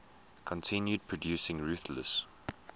continued producing ruthless